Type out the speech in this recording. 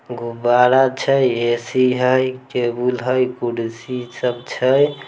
गुबारा छै ए_सी है एक टेबुल है कुर्सी सब छै --